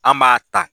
An b'a ta